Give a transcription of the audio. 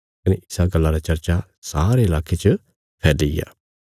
कने इसा गल्ला रा चर्चा सारे लाके च फैल्लीग्या